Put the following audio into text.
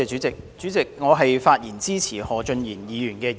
主席，我發言支持何俊賢議員的議案。